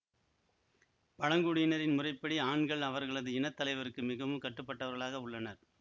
பழங்குடியினரின் முறைப்படி ஆண்கள் அவர்களது இன தலைவருக்கு மிகவும் கட்டுப்பட்டவர்களாக உள்ளனர்